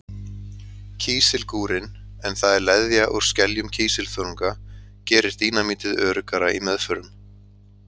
Kísilgúrinn, en það er leðja úr skeljum kísilþörunga, gerir dínamítið öruggara í meðförum.